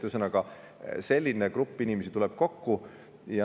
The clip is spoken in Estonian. Ühesõnaga, selline grupp inimesi tuleb kokku.